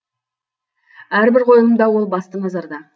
әрбір қойылымда ол басты назарда